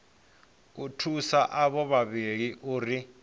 u thusa avho vhavhili uri